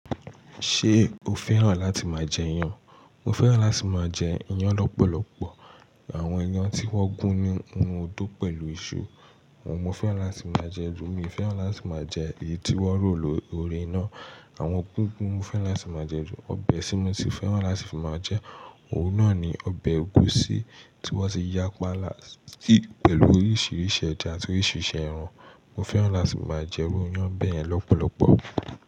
Ṣé o fẹ́ràn láti máa jẹ iyan? Mo fẹ́ràn láti máa jẹ iyan lọ́pọ̀lọpọ̀. Àwọn iyan tí wọ́n gún ní inu odó pẹ̀lú iṣu, àwọn mo fẹ́ràn láti máa jẹ ju mi. Mo fẹ́ràn láti máa jẹ èyí tí wọ́n rò lóri iná, àmo gigun ni mo fẹ́ràn láti máa jẹ ju. Ọbẹ̀ tí mo si fẹ́ràn láti máa jẹ, òun náà ni ọbẹ̀ ẹ̀gúsí tí wọ́n ti ya pánlà sí pẹ̀lú oríṣiríṣi ẹ̀jà àti oríṣiríṣi ẹran. Mo fẹ́ràn láti máa jẹ iru iyan bẹ́yẹn lọ́pọ̀lọpọ̀